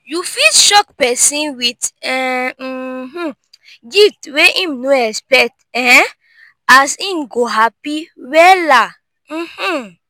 yu fit shock pesin wit um gift wey em no expect um as em go hapi wella um